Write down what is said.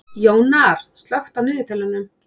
Jónar, slökktu á niðurteljaranum.